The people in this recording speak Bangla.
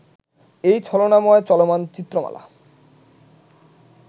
এই ছলনাময় চলমান চিত্রমালা